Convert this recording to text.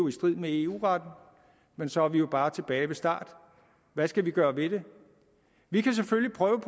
i strid med eu retten men så er vi jo bare tilbage ved start hvad skal vi gøre ved det vi kan selvfølgelig prøve